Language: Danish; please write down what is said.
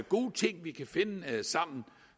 gode ting vi kan finde ud af sammen